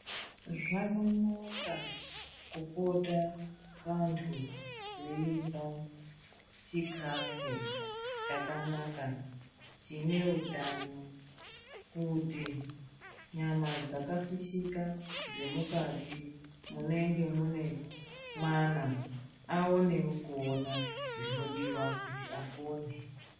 Zvakanaka kupota vantu veirya chikafu chakanaka chine utano kuti nyama dzakafishika dzemukati munenge mwana aonewo kuona zvinodiwa kuti apone.